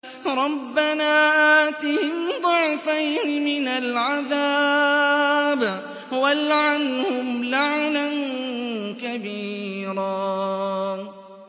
رَبَّنَا آتِهِمْ ضِعْفَيْنِ مِنَ الْعَذَابِ وَالْعَنْهُمْ لَعْنًا كَبِيرًا